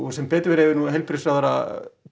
sem betur fer hefur nú heilbrigðisráðherra